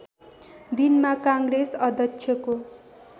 दिनमा काङ्ग्रेस अध्यक्षको